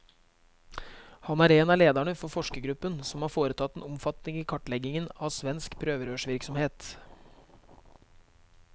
Han er en av lederne for forskergruppen som har foretatt den omfattende kartleggingen av svensk prøverørsvirksomhet.